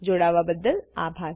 જોડાવાબદ્દલ આભાર